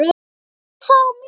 Ég fann það á mér.